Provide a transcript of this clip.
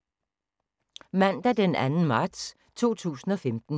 Mandag d. 2. marts 2015